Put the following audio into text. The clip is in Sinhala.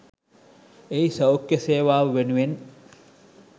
එහි සෞඛ්‍ය සේවාව වෙනුවෙන්